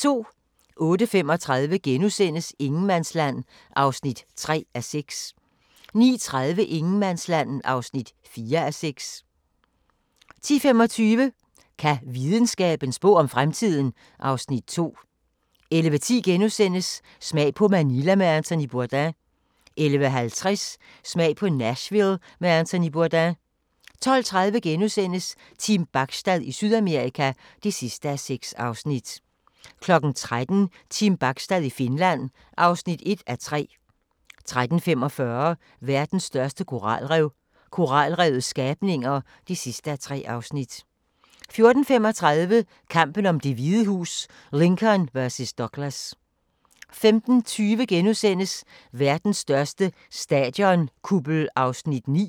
08:35: Ingenmandsland (3:6)* 09:30: Ingenmandsland (4:6) 10:25: Kan videnskaben spå om fremtiden? (Afs. 2) 11:10: Smag på Manila med Anthony Bourdain * 11:50: Smag på Nashville med Anthony Bourdain 12:30: Team Bachstad i Sydamerika (6:6)* 13:00: Team Bachstad i Finland (1:3) 13:45: Verdens største koralrev – koralrevets skabninger (3:3) 14:35: Kampen om Det Hvide Hus: Lincoln vs. Douglas 15:20: Verdens største stadionkuppel (9:21)*